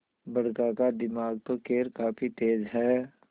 बड़का का दिमाग तो खैर काफी तेज है